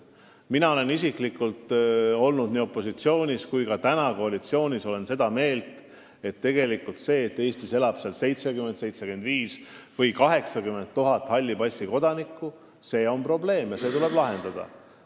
Mina isiklikult olin opositsioonis ja olen ka praegu koalitsioonis olles seda meelt, et see, et Eestis elab 70 000, 75 000 või 80 000 halli passi omanikku, on tegelikult probleem, mis tuleb lahendada.